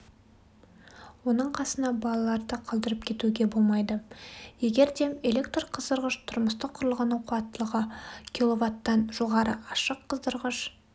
оның қасына балаларды қалдырып кетуге болмайды егерде электрқыздырғыш тұрмыстық құрылғының қуаттылығы квт-тан жоғары ашық қыздырғыш